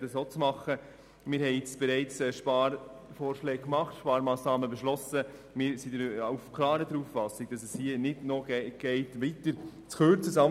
Wir haben bereits Sparmassnahmen beschlossen, und es geht nicht, hier weitere Kürzungen auszusprechen.